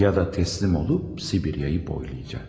Ya da təslim olub Sibiriyayı boylayacaq.